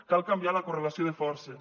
cal canviar la correlació de forces